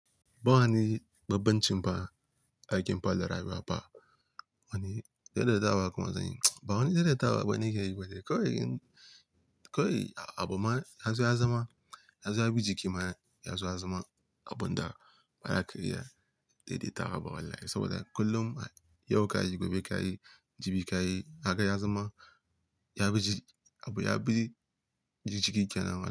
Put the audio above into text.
Ba wani babban ci fa, aikin palarai ba. Wani dai dai tawa kuma zanyi. Ba wani dai dai tawa bane ni ke yi bane. Kawai, kawai abu ma ya zo ya zama, ya zo ya bi jiki ma, ya zo ya zama abun da mara kariya dai dai tawa ba wallahi saboda kullum yau ka yi, gobe ka yi, jibi ka yi. Haka ya zama ya bi jiki, abu ya bi jiki kenan.